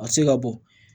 A tɛ se ka bɔ